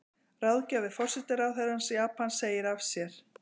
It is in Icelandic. Ráðgjafi forsætisráðherra Japans segir af sér